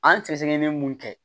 An sɛgɛsɛgɛli bɛ mun kɛ